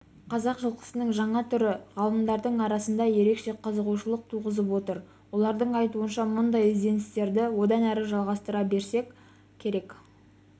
қазақ жылқысының жаңа түрі ғалымдардың арасында ерекше қызығушылық туғызып отыр олардың айтуынша мұндай ізденістерді одан әрі жалғастыра беру керек